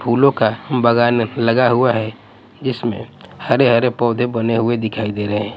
फूलों का बगान लगा हुआ है जीसमें हरे हरे पौधे बने हुए दिखाई दे रहे हैं।